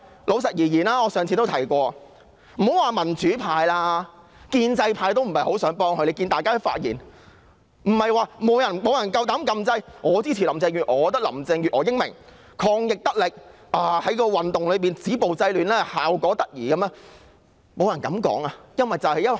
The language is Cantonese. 且不說民主派，建制派也不想幫她，只要看看議員的發言便知曉，沒有議員敢按掣發言支持林鄭月娥，說林鄭月娥英明、抗疫得力、在反修例運動中止暴制亂的效果得宜，沒有人這樣說。